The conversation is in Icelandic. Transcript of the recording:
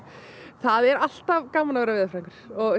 það er alltaf gaman að vera veðurfræðingur